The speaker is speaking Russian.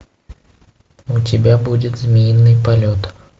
у тебя будет змеиный полет